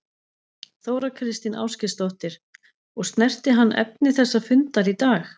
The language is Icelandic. Þóra Kristín Ásgeirsdóttir: Og snerti hann efni þessa fundar í dag?